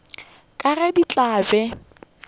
ka ge di tla be